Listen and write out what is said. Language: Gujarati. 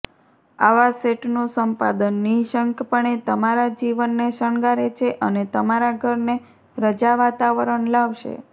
આવા સેટનું સંપાદન નિઃશંકપણે તમારા જીવનને શણગારે છે અને તમારા ઘરને રજા વાતાવરણ લાવશે